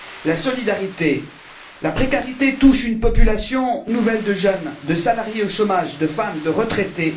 La solidarité, la précarité touchent une population nouvelle de jeunes, de salariés au chômage, de femmes, de retraités.